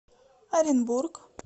оренбург